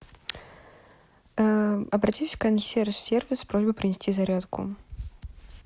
обратись в консьерж сервис с просьбой принести зарядку